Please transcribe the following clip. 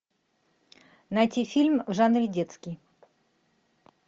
найти фильм в жанре детский